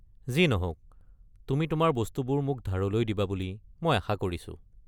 যি নহওক, তুমি তোমাৰ বস্তুবোৰ মোক ধাৰলৈ দিবা বুলি মই আশা কৰিছো।